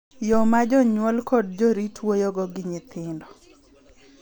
Yo ma jonyuol kod jorit wuoyogo gi nyithindo .